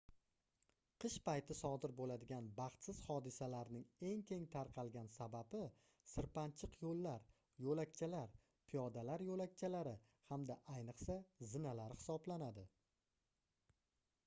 qish payti sodir bo'ladigan baxtsiz hodisalarning eng keng tarqalgan sababi sirpanchiq yo'llar yo'lakchalar piyodalar yo'lakchakari hamda ayniqsa zinalar hisoblanadi